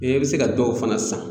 I bɛ se ka dɔw fana san.